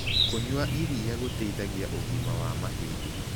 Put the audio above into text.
Kũnyua ĩrĩa gũteĩthagĩa ũgima wa mahĩndĩ